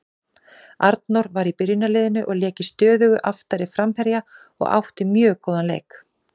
Arnór var í byrjunarliðinu og lék í stöðu aftari framherja og átti mjög góðan leik.